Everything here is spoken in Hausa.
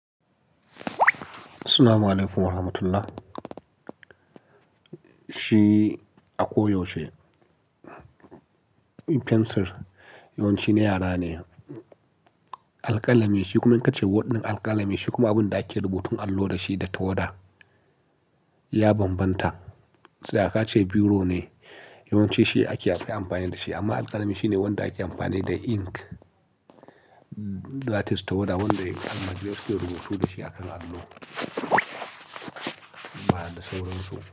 Assalamu alaykum wa rahmatullah. Shi a koyaushe pencil yawanci na yara ne. Alƙalami shi kuma in ka ce word ɗin alƙalami shi kuma abin da ake rubutun allo da shi da tawada ya bambanta. Tsaya ka ce biro ne yawance shi ake amfani da shi amma alƙalami shine wanda ake amfani da ink that is tawada wanda yawance ake rubutu da shi a kan allo. Ba da saurin so.